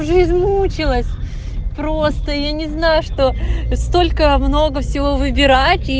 жизнь мучилась просто я не знаю что столько много всего выбирать